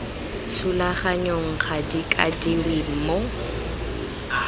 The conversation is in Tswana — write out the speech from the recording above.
thulaganyong ga di kwadiwe mo